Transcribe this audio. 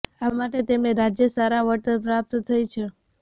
આ માટે તેમણે રાજ્ય સારા વળતર પ્રાપ્ત થઈ છે